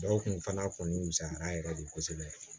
Dɔw kun fana kɔni misaliya yɛrɛ de kosɛbɛ